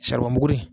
buguri